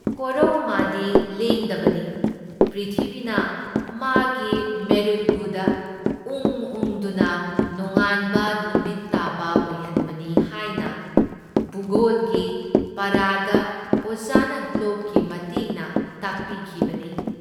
ꯀꯣꯔꯧ ꯃꯥꯗꯤ ꯂꯦꯡꯗꯕꯅꯤ, ꯄ꯭ꯔꯤꯊꯤꯕꯤꯅ ꯃꯥꯒꯤ ꯃꯦꯔꯨꯗꯒꯨꯗ ꯎꯪ ꯎꯪꯗꯨꯅ ꯅꯣꯡꯉꯥꯟꯕ ꯅꯨꯃꯤꯠ ꯇꯥꯕ ꯑꯣꯏꯍꯟꯕꯅꯤ ꯍꯥꯏꯅ ꯚꯨꯒꯣꯜꯒꯤ ꯄꯥꯔꯥꯗ ꯑꯣꯖꯥꯅ ꯒ꯭ꯂꯣꯕꯀꯤ ꯃꯇꯦꯡꯅ ꯇꯥꯛꯄꯤꯈꯤꯕꯅꯤ ꯫